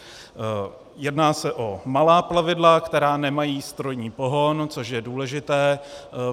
Jedná se o malá plavidla, která nemají strojní pohon, což je důležité.